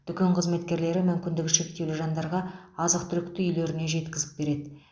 дүкен қызметкерлері мүмкіндігі шектеулі жандарға азық түлікті үйлеріне жеткізіп береді